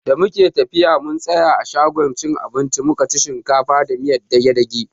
Da muke tafiya mun tsaya a shagon cin abinci mukaci shinkafa da miyar dage-dage.